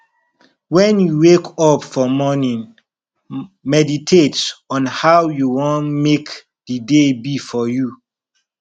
when you wake up for morning meditate on how you won make di day be for you